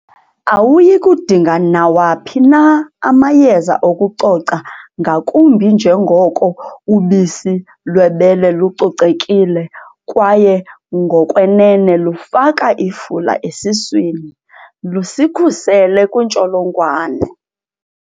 Awuyi kudinga nawaphi na amayeza okucoca ngakumbi njengoko ubisi lwebele lucocekile, kwaye ngokwenene lufaka ifula esuswini, lusikhusele kwiintsholongwane.